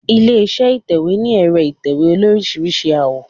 Ilé iṣẹ́ ìtẹ̀wẹ́ ní ẹ̀rọ ìtẹ̀wé olóríṣiríṣi àwọ̀.